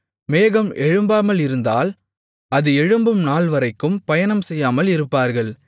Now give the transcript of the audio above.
மேகம் எழும்பாமல் இருந்தால் அது எழும்பும் நாள்வரைக்கும் பயணம் செய்யாமல் இருப்பார்கள்